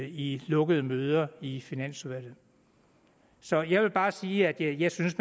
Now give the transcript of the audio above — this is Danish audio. i lukkede møder i finansudvalget så jeg vil bare sige at jeg synes